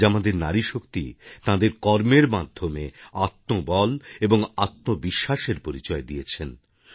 আজ আমাদের নারীশক্তি তাঁদের কর্মের মাধ্যমে আত্মবল এবং আত্মবিশ্বাসের পরিচয় দিয়েছেন